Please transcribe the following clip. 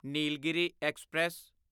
Nilgiri express